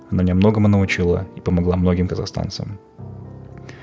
она мне многому научила и помогла многим қазахстанцам